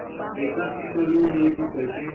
ekasita le ho nyediswa ke